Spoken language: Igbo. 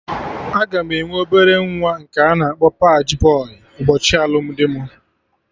Aga m enwe obere nwa nke a na-akpọ paji bọy ụbọchị alụmdi mụ